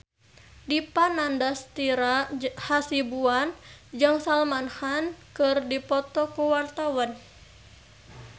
Dipa Nandastyra Hasibuan jeung Salman Khan keur dipoto ku wartawan